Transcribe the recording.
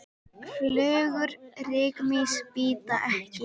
Flugur rykmýs bíta ekki.